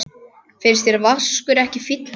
Finnst þér Vaskur ekki fínt nafn?